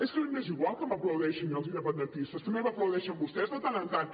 és que a mi m’és igual que m’aplaudeixin els independentistes també m’aplaudeixen vostès de tant en tant